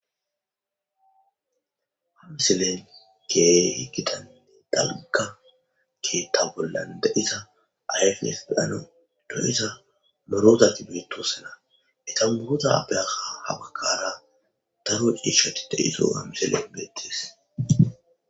Ha missiley kehi gita dalgga keththa bollan deiza ayfes daro loiza dozati betosona eta dozappe ha bagara daro cishshati dizayssa ha misilen betes.